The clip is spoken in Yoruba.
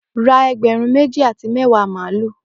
Ra egberun meji ati mẹwa malu!